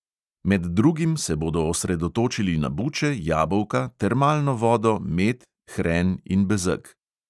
Med drugim se bodo osredotočili na buče, jabolka, termalno vodo, med, hren in bezeg.